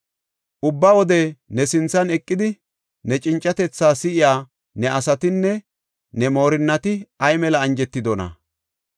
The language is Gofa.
Ubba wode ne sinthan eqidi ne cincatethaa si7iya ne asatinne ne moorinnati ay mela anjetidona!